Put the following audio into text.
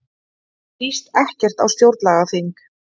Líst ekkert á stjórnlagaþing